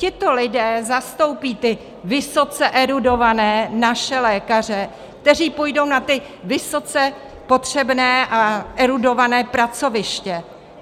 Tito lidé zastoupí ty vysoce erudované naše lékaře, kteří půjdou na ta vysoce potřebná a erudovaná pracoviště.